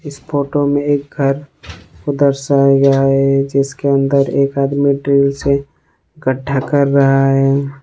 इस फोटो में एक घर को दर्शाया गया है जिसके अंदर एक आदमी ड्रिल से गड्ढा कर रहा है।